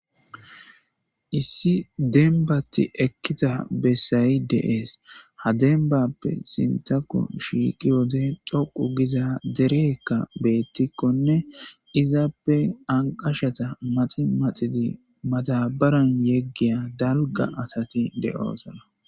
Issi demmbati ekkiza bessayi de'esi ha demmbappe sinththakko shiqqiyode toqqu gizza dereyikka bettikonne izappe anqqashaza maxxi maxxidi maddabaran yeghiya dalgga asati de'oosona.